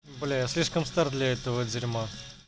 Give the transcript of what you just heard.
бля я слишком стар для этого дерма